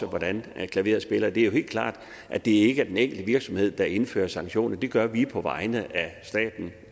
hvordan klaveret spiller det er jo helt klart at det ikke er den enkelte virksomhed der indfører sanktioner det gør vi på vegne af staten